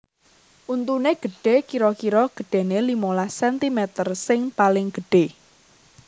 Untuné gedhe kira kira gedhené limolas centimeter sing paling gedhé